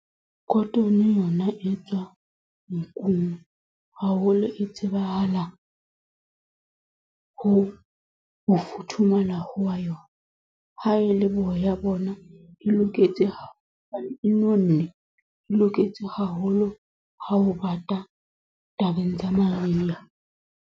Cotton yona e tswa, nkung. Haholo e tsebahala, ho ho futhumala hwa yona. Ha e le boya bona, e loketse nonne, e loketse haholo ha ho bata, tabeng tsa mariha.